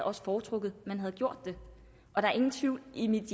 også foretrukket at man havde gjort det og der er ingen tvivl i mit